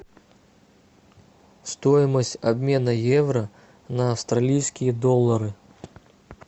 стоимость обмена евро на австралийские доллары